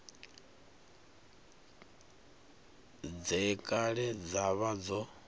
dze kale dza vha dzo